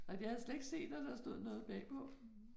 Nej det havde jeg slet ikke set, at der stod noget bagpå